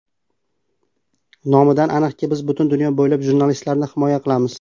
Nomidan aniqki, biz butun dunyo bo‘ylab jurnalistlarni himoya qilamiz.